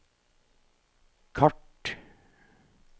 kart